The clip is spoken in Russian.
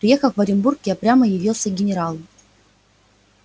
приехав в оренбург я прямо явился к генералу